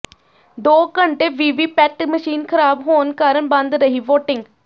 ਦੋ ਘੰਟੇ VVPAT machine ਖਰਾਬ ਹੋਣ ਕਾਰਨ ਬੰਦ ਰਹੀ ਵੋਟਿੰਗ